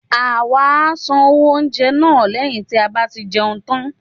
awa à sán owo oúnjẹ na, leyín ti a ba ti jeún tan